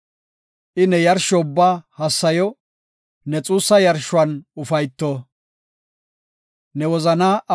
I ne yarsho ubbaa hassayo; ne xuussa yarshuwan ufayto. Salaha